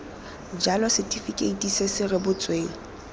jalo setifikeiti se se rebotsweng